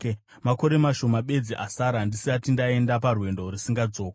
“Makore mashoma bedzi asara, ndisati ndaenda parwendo rusingadzokwi.